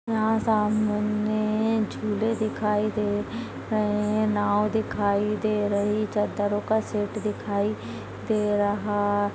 यहाँ सामने ने ने झूले दिखाई दे रहे है नाव दिखाई दे रही चददरों का सेट दिखाई दे रहा--